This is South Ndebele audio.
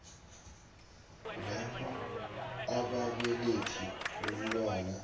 lapho ababelethi bomntwana